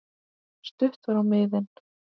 Stutt var á miðin.